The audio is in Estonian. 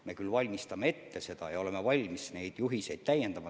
Me oleme küll ette valmistanud ja oleme valmis neid juhiseid täiendama.